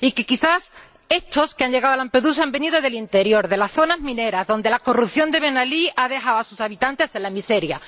Ya que, quizá, estos que han llegado a Lampedusa han venido del interior, de las zonas mineras, donde la corrupción de Ben Alí ha dejado a sus habitantes en la miseria.